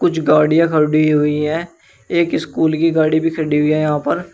कुछ गाड़ियाँ खड़ी हुई हैं एक स्कूल की गाड़ी भी खड़ी हुई है यहाँ पर।